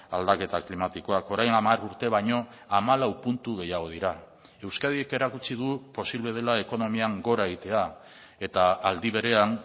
aldaketa klimatikoak orain hamar urte baino hamalau puntu gehiago dira euskadik erakutsi du posible dela ekonomian gora egitea eta aldi berean